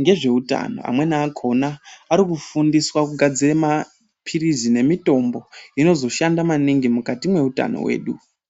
ngezveutano, Amweni akhona arikufundiswa kugadzira maphilizi nemitombo inozoshanda maningi mukati meutano wedu.